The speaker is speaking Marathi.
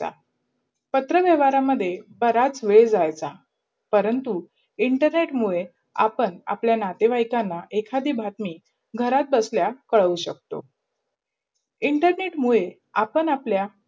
पात्रवाहवरमहे बरच वेड जायचा, परंतु internet मुडे आपण अप्लाय नातेवायकला एखादी बातमी घरात बसला कडाऊ शकतो. internet मुडे आपण अप्लाया